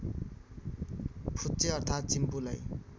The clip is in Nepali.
फुच्चे अर्थात् चिम्पुलाई